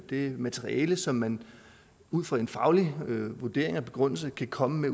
det materiale som man ud fra en faglig vurdering og begrundelse kan komme med